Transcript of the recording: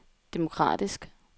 demokratisk